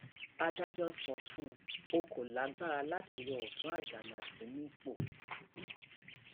adájọ sọ fún ọ kò lágbára láti yọ ọtún àjànásì nípò àjànásì nípò